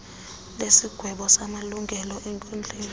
lesigwebo samalungelo enkundla